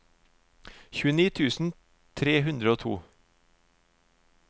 tjueni tusen tre hundre og to